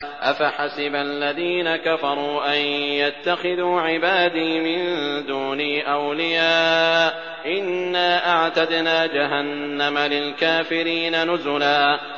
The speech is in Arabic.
أَفَحَسِبَ الَّذِينَ كَفَرُوا أَن يَتَّخِذُوا عِبَادِي مِن دُونِي أَوْلِيَاءَ ۚ إِنَّا أَعْتَدْنَا جَهَنَّمَ لِلْكَافِرِينَ نُزُلًا